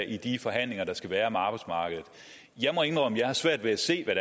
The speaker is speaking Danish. i de forhandlinger der skal være om arbejdsmarkedet jeg må indrømme jeg har svært ved at se hvad